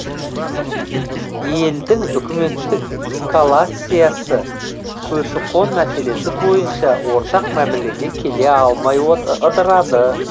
елдің үкіметтік калациясы көші қон мәселесі бойынша ортақ мәмілеге келе алмай ыдырады